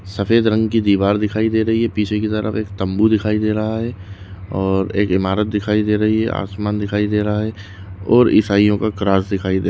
सफ़ेद रंग की दीवार दिखाई दे रही है पीछे की तरफ एक तंबू दिखाई दे रहा है और एक ईमारत दिखाई दे रही है आसमान दिखाई दे रहा है और ईसाईयोंका दिखाई दे--